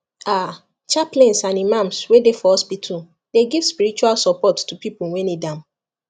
ah chaplains and imams wey dey for hospital dey give spiritual support to people wey need am